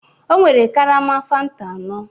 Ọ nwere karama fanta anọ